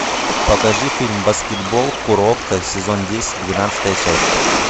покажи фильм баскетбол куроко сезон десять двенадцатая часть